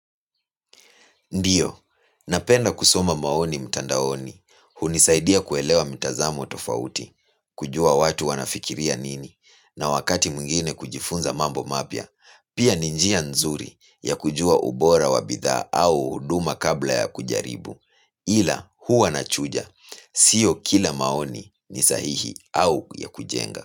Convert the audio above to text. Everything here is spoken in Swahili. Ndiyo, napenda kusoma maoni mtandaoni, hunisaidia kuelewa mitazamo tofauti, kujua watu wanafikiria nini, na wakati mwingine kujifunza mambo mapya, pia ni njia nzuri ya kujua ubora wa bidhaa au huduma kabla ya kujaribu, ila, huwa nachuja, sio kila maoni ni sahihi au ya kujenga.